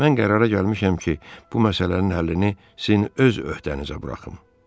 Mən qərara gəlmişəm ki, bu məsələnin həllini sizin öz öhdənizə buraxım.